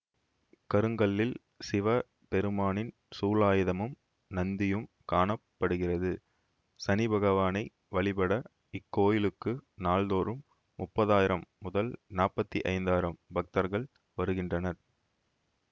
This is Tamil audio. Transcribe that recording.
கருங்கல்லில் சிவ பெருமானின் சூலாயுதமும் நந்தியும் காண படுகிறது சனிபகவானை வழிபட இக்கோயிலுக்கு நாள்தோறும் முப்பதாயிரம் முதல் நாப்பத்தி ஐந்தாயிரம் பக்தர்கள் வருகின்றனர்